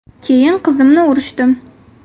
Keyin qizimni urishdim.